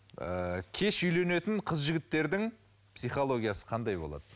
ыыы кеш үйленетін қыз жігіттердің психологиясы қандай болады